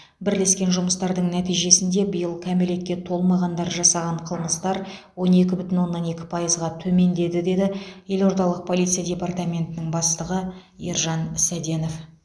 бірлескен жұмыстардың нәтижесінде биыл кәмелетке толмағандар жасаған қылмыстар он екі бүтін оннан екі пайызға төмендеді деді елордалық полиция департаментінің бастығы ержан сәденов